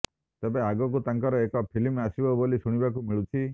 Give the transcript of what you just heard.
ତେବେ ଆଗକୁ ତାଙ୍କର ଏକ ଫିଲ୍ମ ଆସିବ ବୋଲି ଶୁଣିବାକୁ ମିଳୁଛି